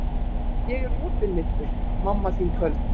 Ég opinmynntur, mamma þín köld.